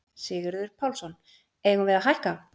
Sigurður Pálsson: Eigum við að hækka?